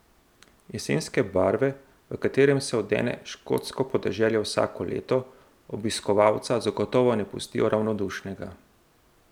Jesenske barve, v katere se odene škotsko podeželje vsako leto, obiskovalca zagotovo ne pustijo ravnodušnega.